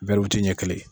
Bɛɛw ti ɲɛ kelen ye